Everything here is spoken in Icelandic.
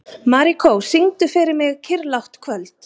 Marikó, syngdu fyrir mig „Kyrrlátt kvöld“.